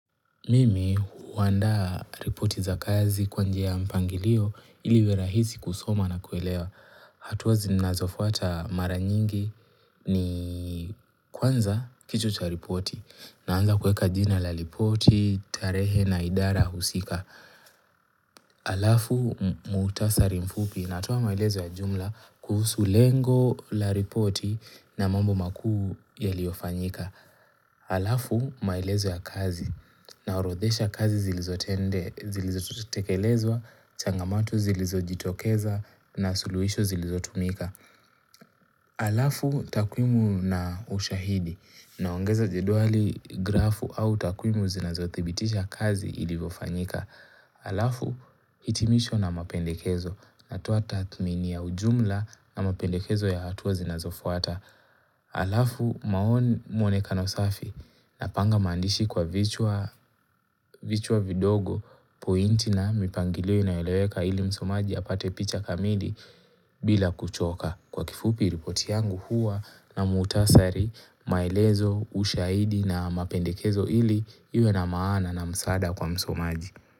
Mimi huandaa ripoti za kazi kwa njia ya mpangilio ili iwerahisi kusoma na kuelewa. Hatua zinazofuata mara nyingi ni kwanza kichwa cha ripoti naanza kuweka jina la ripoti, tarehe na idara husika. Alafu muutasari mfupi natoa maelezo ya jumla kuhusu lengo la ripoti na mambo makuu yaliyofanyika. Alafu maelezo ya kazi naorodhesha kazi zilizotende, zilizotekelezwa, changamatu zilizojitokeza na suluhisho zilizotumika. Alafu takwimu na ushahidi naongeza jedwali grafu au takwimu zinazothibitisha kazi ilivyofanyika. Alafu hitimisho na mapendekezo na toa tathmini ya ujumla na mapendekezo ya hatua zinazofuata. Alafu maoni maonekano safi na panga maandishi kwa vichwa vidogo pointi na mipangilio inayoeleweka ili msomaji apate picha kamili bila kuchoka kwa kifupi ripoti yangu huwa na muutasari maelezo ushaidi na mapendekezo ili iwe na maana na msaada kwa msomaji.